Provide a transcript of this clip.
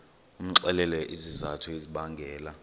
umxelele izizathu ezibangela